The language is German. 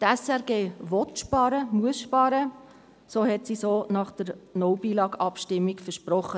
Die SRG will und muss sparen, so hat sie es auch nach der «No Billag»-Abstimmung versprochen.